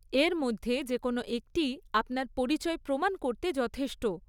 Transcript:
এর মধ্যে যে কোনো একটিই আপনার পরিচয় প্রমাণ করতে যথেষ্ট।